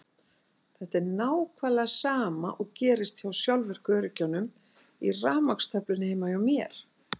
Þetta er nákvæmlega sama og gerist hjá sjálfvirku öryggjunum í rafmagnstöflunni heima hjá þér.